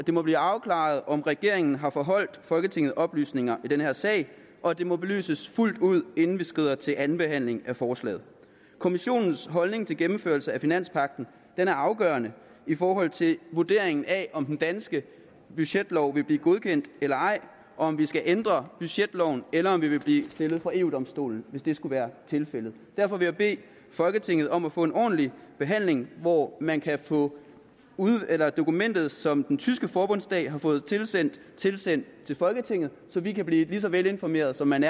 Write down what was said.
må blive afklaret om regeringen har forholdt folketinget oplysninger i den her sag og at det må belyses fuldt ud inden vi skrider til anden behandling af forslaget kommissionens holdning til gennemførelse af finanspagten er afgørende i forhold til vurderingen af om den danske budgetlov vil blive godkendt eller ej om vi skal ændre budgetloven eller om vi vil blive stillet for eu domstolen hvis det skulle være tilfældet derfor vil jeg bede folketinget om at få en ordentlig behandling hvor man kan få dokumentet som den tyske forbundsdag har fået tilsendt sendt til folketinget så vi kan blive lige så velinformeret som man